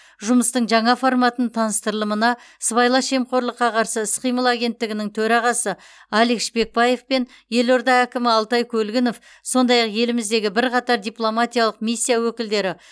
жұмыстың жаңа форматының таныстырылымына сыбайлас жемқорлыққа қарсы іс қимыл агенттігінің төрағасы алик шпекбаев пен елорда әкімі алтай көлгінов сондай ақ еліміздегі бірқатар дипломатиялық миссия өкілдері